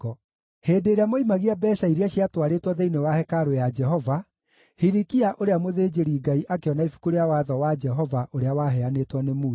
Hĩndĩ ĩrĩa moimagia mbeeca iria ciatwarĩtwo thĩinĩ wa hekarũ ya Jehova, Hilikia ũrĩa mũthĩnjĩri-Ngai akĩona Ibuku rĩa Watho wa Jehova ũrĩa waheanĩtwo nĩ Musa.